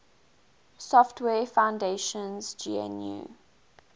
software foundation's gnu